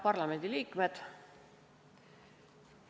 Head parlamendi liikmed!